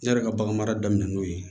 Ne yɛrɛ ka baganmara daminɛ n'o ye